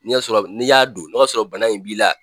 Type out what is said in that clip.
N'i y'a sɔrɔ n'i y'a don n'o y'a sɔrɔ bana in b'i la,